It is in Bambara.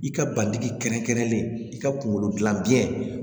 I ka bandigi kɛrɛnkɛrɛnlen i ka kunkolo gilan biɲɛ